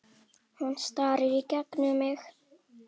Hún starir í gegnum mig.